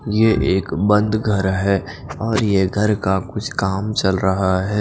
ये एक बंद घर हे और ये घर का कुछ काम चल रहा हैं।